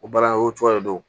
O baara o cogoya de don